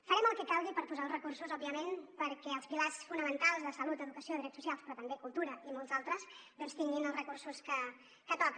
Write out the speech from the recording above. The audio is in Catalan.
farem el que calgui per posar els recursos òbviament perquè els pilars fonamentals de salut educació drets socials però també cultura i molts altres doncs tinguin els recursos que toca